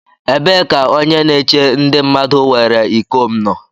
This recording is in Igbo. Ebee ka onye na-eche ndi mmadu were iko m nọ?